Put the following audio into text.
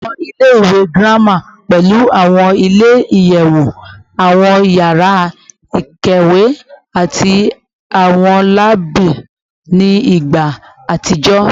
Awọn ile ile-iwe girama pẹlu awọn ile-iyẹwu, awọn yara ikawe, ati awọn laabu ni igba atijọ